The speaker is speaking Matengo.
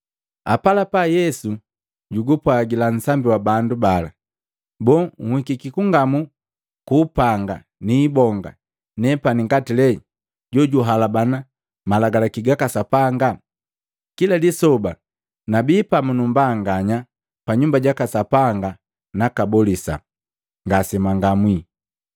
Apalapa Yesu jugupwajila nsambi wa bandu bala, “Boo, nhikiki kungamu kwa mapanga niibonga nepani ngati lee jojuhalabana malagalaki gaka Sapanga? Kila lisoba nabii pamu numbanganya pa Nyumba jaka Sapanga nakabolisa, ngasemwangamwi.